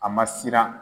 A ma siran